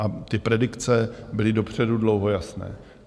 A ty predikce byly dopředu dlouho jasné.